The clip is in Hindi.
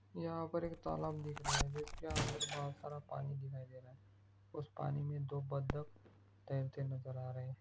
यहाँ पर एक तालाब दिख रहा है जिसके अंदर बहुत सारा पानी दिखाई दे रहा है उस पानी में दो बदक तैरते नजर आ रहे।